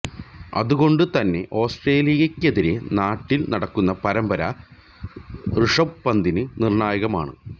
അതുകൊണ്ടുതന്നെ ഓസ്ട്രേലിയക്കെതിരെ നാട്ടില് നടക്കുന്ന പരമ്പര ഋഷഭ് പന്തിന് നിര്ണായകമാണ്